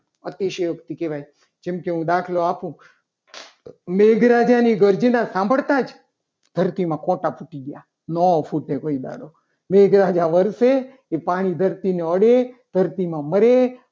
અતિશયોક્તિ કહેવાય. જેમ કે હું દાખલો આપો મેઘરાજાની ગર્જના સાંભળતા જ ધરતીમાં ફોટા તૂટી ગયા. ન ફૂટે કોઈ દાડો મેઘરાજા વર્ષે એ પાણી ધરતીમાં અડે ધરતીમાં મળે.